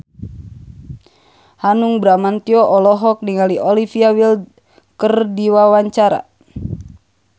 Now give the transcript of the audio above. Hanung Bramantyo olohok ningali Olivia Wilde keur diwawancara